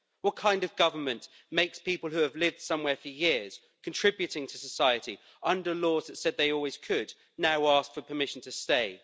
What kind of government makes people who have lived somewhere for years, contributing to society under laws that said they always could, now ask for permission to stay?